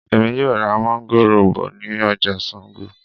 Èmi yóò ra máńgòrò bọ̀ ní ọjà Sango